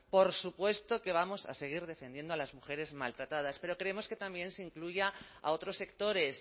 por supuesto que vamos a seguir defendiendo a las mujeres maltratadas pero queremos que también se incluya a otros sectores